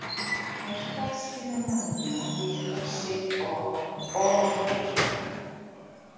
Hætta að spila manna við Hrossið og Ofvitann.